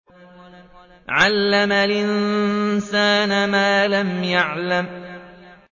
عَلَّمَ الْإِنسَانَ مَا لَمْ يَعْلَمْ